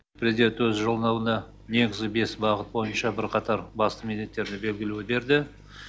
президент өз жолдауында негізгі бес бағыт бойынша бірқатар басты міндеттерді белгілеуге берді